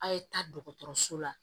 A' ye taa dɔgɔtɔrɔso la